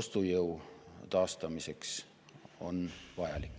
ostujõu taastamiseks vajalik.